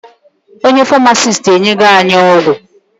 Onye Farmasiti enyego anyị ọgwụ